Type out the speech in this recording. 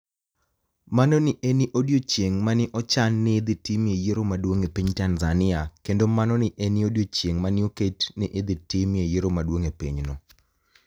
Mano ni e eni odiechienig' ma ni e ochani nii ni e idhi timie yiero maduonig' e piniy Tanizaniia, kenido mano ni e eni odiechienig' ma ni e oket nii ni e idhi timie yiero maduonig' e piny no